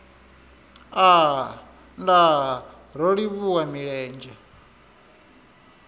aa nndaa ro livhuwa milenzhe